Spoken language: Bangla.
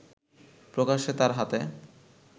প্রকাশ্যে তার হাতে